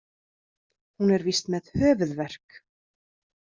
Hún er víst með höfuðverk.